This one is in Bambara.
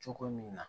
Cogo min na